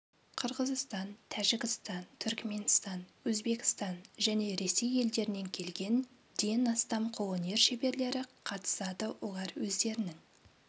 қырғыстан тәжікстан түрікменстан өзбекстан және ресей елдерінен келген ден астам қолөнер шеберлері қатысады олар өздерінің